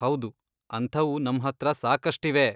ಹೌದು, ಅಂಥವು ನಮ್ಹತ್ರ ಸಾಕಷ್ಟಿವೆ.